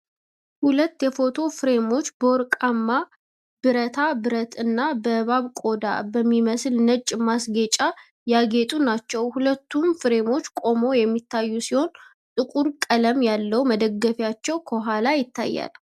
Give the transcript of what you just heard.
ሁለት የፎቶ ፍሬሞች፣ በወርቃማ-ብረታ ብረት እና በእባብ ቆዳ በሚመስል ነጭ ማስጌጫ ያጌጡ ናቸው። ሁለቱም ፍሬሞች ቆመው የሚታዩ ሲሆን፣ ጥቁር ቀለም ያለው መደገፊያቸው ከኋላ ይታያል